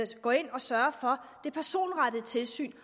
skal gå ind og sørge for det personrettede tilsyn